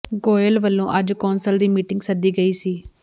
ਗੋਇਲ ਵੱਲੋਂ ਅੱਜ ਕੌਂਸਲ ਦੀ ਮੀਟਿੰਗ ਸੱਦੀ ਗਈ ਸੀ